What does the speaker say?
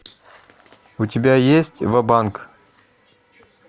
у тебя есть ва банк